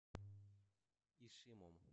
ишимом